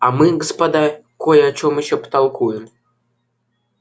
а мы господа кой о чем ещё потолкуем